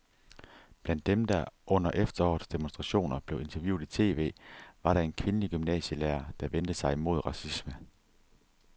Blandt dem, der under efterårets demonstrationer blev interviewet i tv, var der en kvindelig gymnasielærer, der vendte sig imod racisme.